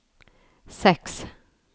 seks